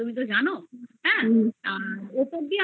নাও sandwich pizza এইগুলো তো ভালো লাগে না তুমি জানো হ্যা